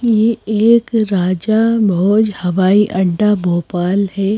ये एक राजा भोज हवाई अड्डा भोपाल है।